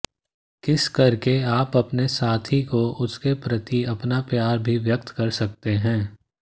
किस करके आप अपने साथी को उसके प्रति अपना प्यार भी व्यक्त कर सकते है